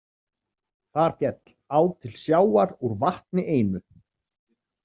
Þar féll á til sjávar úr vatni einu.